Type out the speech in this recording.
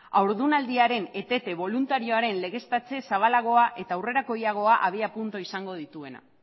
haurdunaldiaren etete boluntarioaren legeztatze zabalagoa eta aurrerakoiagoa abiapuntua izango dituena